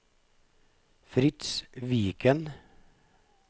Fritz Viken